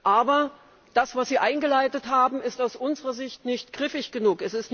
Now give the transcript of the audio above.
Aber das, was Sie eingeleitet haben, ist aus unserer Sicht nicht griffig genug.